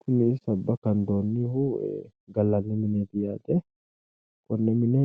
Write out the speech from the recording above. Kuni Sabba kandoonnihu gallanni mineeti konne mine